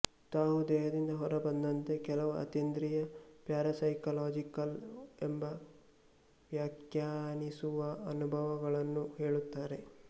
ತಾವು ದೇಹದಿಂದ ಹೊರ ಬಂದಂತೆ ಕೆಲವು ಅತೀಂದ್ರಿಯ ಪ್ಯಾರಸೈಕೋಲಾಜಿಕಲ್ ಎಂದು ವ್ಯಾಖ್ಯಾನಿಸುವ ಅನುಭವಗಳನ್ನು ಹೇಳುತ್ತಾರೆ